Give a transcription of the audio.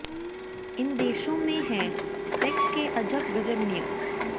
इन देशों में हैं सेक्स के अजब गजब नियम